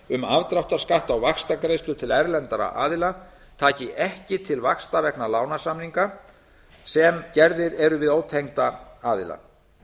um afdráttarskatt á vaxtagreiðslur til erlendra aðila taki ekki til vaxta vegna lánasamninga sem gerðir eru við ótengda aðila